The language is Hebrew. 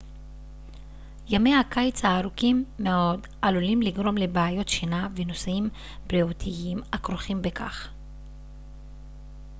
ימי הקיץ הארוכים מאד עלולים לגרום לבעיות שינה ונושאים בריאותיים הכרוכים בכך